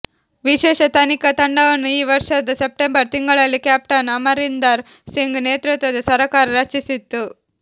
ವಿಶೇಷ ತನಿಖಾ ತಂಡವನ್ನು ಈ ವರ್ಷದ ಸೆಪ್ಟೆಂಬರ್ ತಿಂಗಳಲ್ಲಿ ಕ್ಯಾಪ್ಟನ್ ಅಮರಿಂದರ್ ಸಿಂಗ್ ನೇತೃತ್ವದ ಸರಕಾರ ರಚಿಸಿತ್ತು